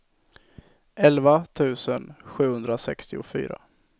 elva tusen sjuhundrasextiofyra